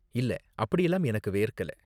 இல்ல, அப்படிலாம் எனக்கு வேர்க்கல.